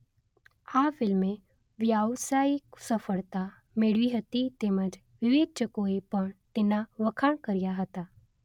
આ ફિલ્મે વ્યાવસાયિક સફળતા મેળવી હતી તેમજ વિવેચકોએ પણ તેના વખાણ કર્યા હતા